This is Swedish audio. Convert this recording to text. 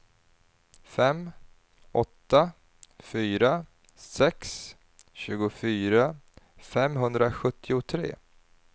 fem åtta fyra sex tjugofyra femhundrasjuttiotre